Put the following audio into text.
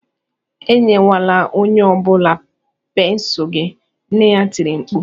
"Enyelwala onye ọ bụla pensụl gị!" nne ya tiri mkpu